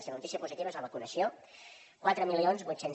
i la notícia positiva és la vacunació quatre mil vuit cents